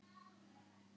Hann tók andköf.